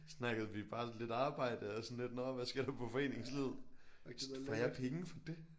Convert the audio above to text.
Snakkede vi bare lidt arbejde og sådan lidt nåh hvad sker der på foreningslivet. Får jeg penge for det?